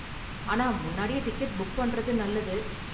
ஆனா முன்னாடியே ticket book பண்றது நல்லது.